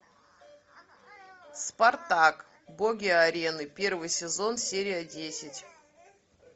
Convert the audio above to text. спартак боги арены первый сезон серия десять